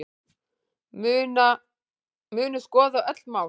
Munu skoða öll mál